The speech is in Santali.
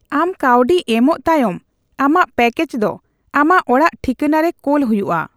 ᱟᱢ ᱠᱟᱹᱣᱰᱤ ᱮᱢᱚᱜ ᱛᱟᱭᱚᱢ, ᱟᱢᱟᱜ ᱯᱮᱠᱮᱡ ᱫᱚ ᱟᱢᱟᱜ ᱚᱲᱟᱜ ᱴᱷᱤᱠᱟᱹᱱᱟ ᱨᱮ ᱠᱳᱞ ᱦᱩᱭᱩᱜᱼᱟ ᱾